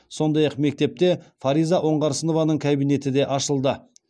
сондай ақ мектепте фариза оңғарсынованың кабинеті де ашылды